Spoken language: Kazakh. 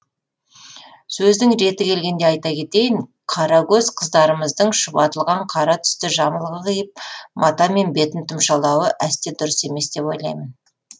сөздің реті келгенде айта кетейін қара көз қыздарымыздың шұбатылған қара түсті жамылғы киіп матамен бетін тұмшалауы әсте дұрыс емес деп ойлаймын